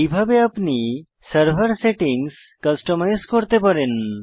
এইভাবে আপনি server settings customize করতে পারেন